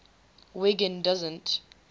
wiggin doesn t